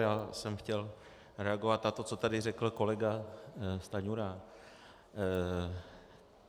Já jsem chtěl reagovat na to, co tady řekl kolega Stanjura.